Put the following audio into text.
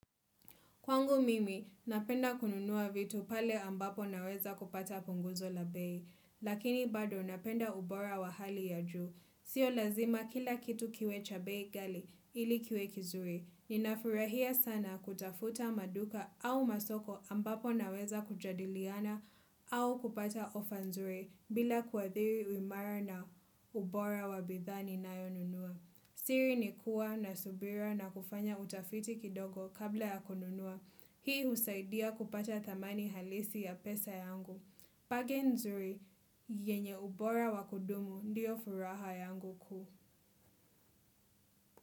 Kwangu mimi, napenda kununua vitu pale ambapo naweza kupata punguzo la bei. Lakini bado napenda ubora wa hali ya juu. Sio lazima kila kitu kiwe cha bei ghali ili kiwe kizuri. Ninafurahia sana kutafuta maduka au masoko ambapo naweza kujadiliana au kupata ofa nzuri bila kuadhiri uimara na ubora wa bidhaa ni nayo nunua. Siri ni kuwa na subira na kufanya utafiti kidogo kabla ya konunua. Sio lazima kila kitu kiwe cha bei ghali ili kiwe kizuri. Bagi nzuri yenye ubora wa kudumu ndiyo furaha yangu kuu.